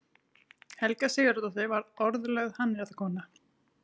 Helga Sigurðardóttir varð orðlögð hannyrðakona.